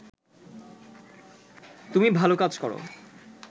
তুমি ভালো কাজ করো